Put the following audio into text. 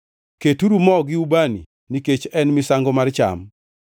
Keturu mo gi ubani nikech en misango mar cham.